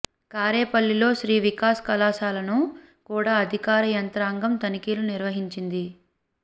కారేపల్లిలో శ్రీ వికాస్ కళాశాలను కూడా అధికార యంత్రాంగం తనిఖీలు నిర్వహించింది